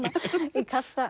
í kassa